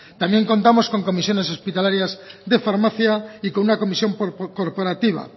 también contamos con comisiones hospitalarias de farmacia y con una comisión corporativa